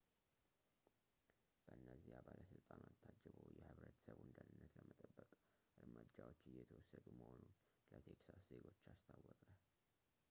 በነዚያ ባለሥልጣናት ታጅቦ የህብረተሰቡን ደህንነት ለመጠበቅ እርምጃዎች እየተወሰዱ መሆኑን ለቴክሳስ ዜጎች አስታወቀ